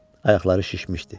Ayaqları şişmişdi.